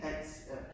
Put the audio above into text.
Alt! Ja